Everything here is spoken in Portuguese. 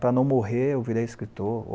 Para não morrer, eu virei escritor.